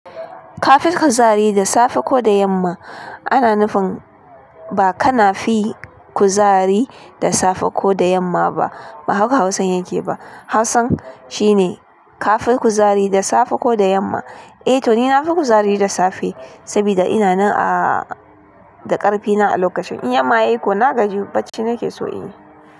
Ka fi kuzari da safe ko da yamma? Ana nufin, ba ka na fi kuzari da safe ko da yamma ba, ba haka Hausan yake ba. Hausa shine ka fi kuzari da safe ko da yamma? Eh to ni na fi kuzari da safe, sabida ina nan a da ƙarfina a lokacin. In yamma yai ko na gaji, bacci nake so in yi.